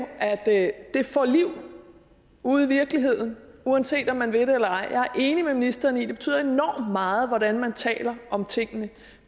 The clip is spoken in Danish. at det får et liv ude i virkeligheden uanset om man vil det eller ej jeg er enig med ministeren i at det betyder enormt meget hvordan man taler om tingene